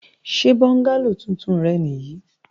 Ṣe bọ́ngálò tuntun rẹ nì yí?